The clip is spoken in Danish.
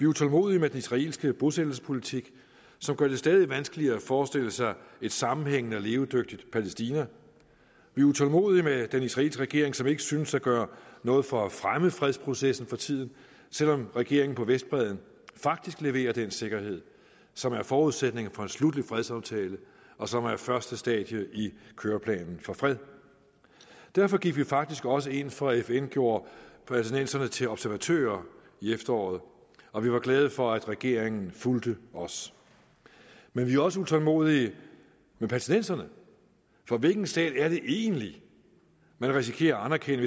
utålmodige med den israelske bosættelsespolitik som gør det stadig vanskeligere at forestille sig et sammenhængende og levedygtigt palæstina vi er utålmodige med den israelske regering som ikke synes at gøre noget for at fremme fredsprocessen for tiden selv om regeringen på vestbredden faktisk leverer den sikkerhed som er forudsætningen for en sluttet fredsaftale og som er første stadie i køreplanen for fred derfor gik vi faktisk også ind for at fn gjorde palæstinenserne til observatører i efteråret og vi var glade for at regeringen fulgte os men vi er også utålmodige med palæstinenserne for hvilken stat er det egentlig man risikerer at anerkende